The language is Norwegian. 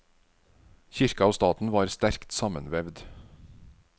Kirka og staten var sterkt sammenvevd.